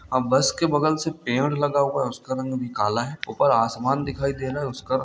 अब बस के बगल में पेड़ लगा हुआ है उसका रंग भी काला है ऊपर असमान दिखाई दे रहा है उसका रंग---